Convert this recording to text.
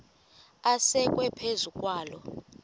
asekwe phezu kwaloo